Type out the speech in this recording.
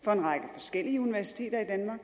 forskellige universiteter i danmark